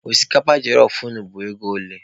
Osikapa jelọf unu bụ ego ole?